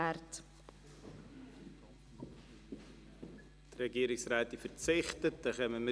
Die Regierungsrätin verzichtet auf ein Votum.